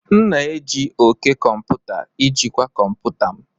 M na-eji òké komputa ijikwaa kọmputa m.